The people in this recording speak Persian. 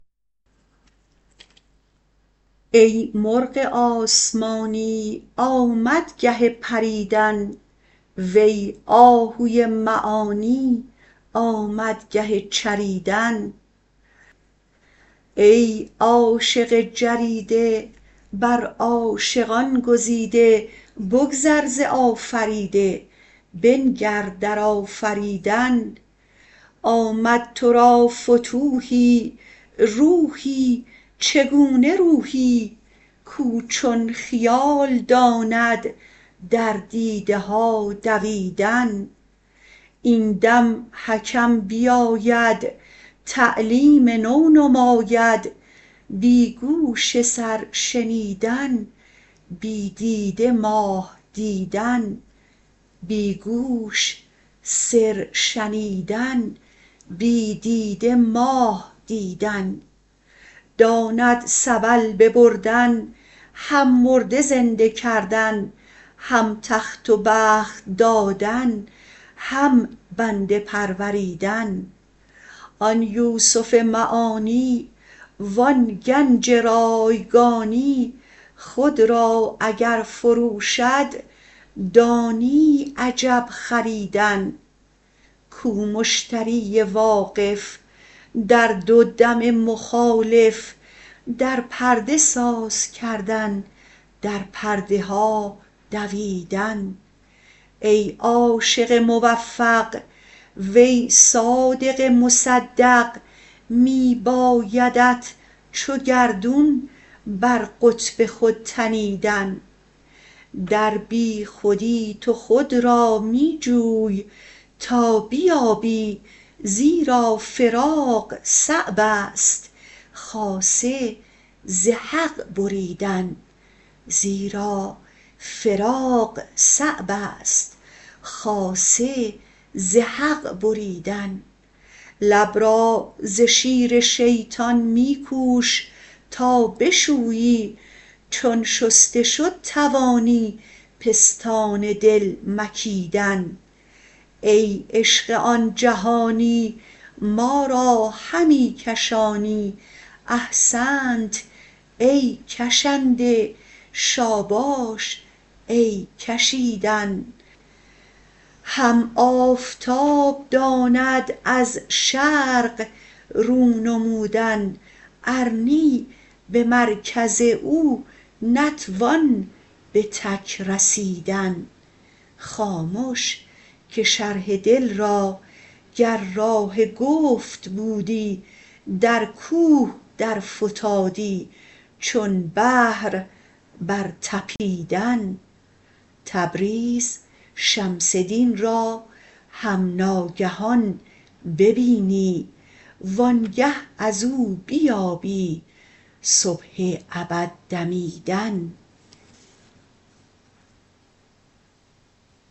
ای مرغ آسمانی آمد گه پریدن وی آهوی معانی آمد گه چریدن ای عاشق جریده بر عاشقان گزیده بگذر ز آفریده بنگر در آفریدن آمد تو را فتوحی روحی چگونه روحی کاو چون خیال داند در دیده ها دویدن این دم حکم بیاید تعلیم نو نماید بی گوش سر شنیدن بی دیده ماه دیدن داند سبل ببردن هم مرده زنده کردن هم تخت و بخت دادن هم بنده پروریدن آن یوسف معانی و آن گنج رایگانی خود را اگر فروشد دانی عجب خریدن کو مشتری واقف در دو دم مخالف در پرده ساز کردن در پرده ها دویدن ای عاشق موفق وی صادق مصدق می بایدت چو گردون بر قطب خود تنیدن در بیخودی تو خود را می جوی تا بیابی زیرا فراق صعب است خاصه ز حق بریدن لب را ز شیر شیطان می کوش تا بشویی چون شسته شد توانی پستان دل مکیدن ای عشق آن جهانی ما را همی کشانی احسنت ای کشنده شاباش ای کشیدن هم آفتاب داند از شرق رو نمودن ار نی به مرکز او نتوان به تک رسیدن خامش که شرح دل را گر راه گفت بودی در کوه درفتادی چون بحر برطپیدن تبریز شمس دین را هم ناگهان ببینی وآنگه از او بیابی صبح ابد دمیدن